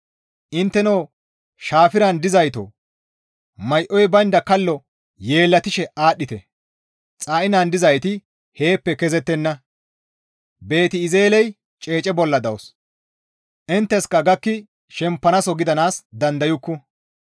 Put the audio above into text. Intteno Shafiren dizaytoo may7oy baynda kallo Yeellatishe aadhdhite; Xa7inan dizayti heeppe kezettenna; Beeti-Ezeeley ceece bolla dawus; intteska gakki shempanaaso gidanaas dandayukku.